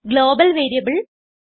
global variable